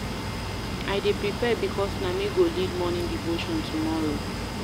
I dey prepare because na me go lead morning devotion tomorrow.